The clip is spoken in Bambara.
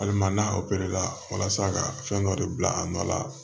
Hali ma n'a la walasa ka fɛn dɔ de bila a nɔ la